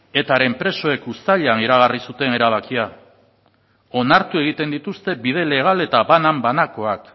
etaren presoek uztailean iragarri zuten erabakia onartu egiten dituzte bide legal eta banan banakoak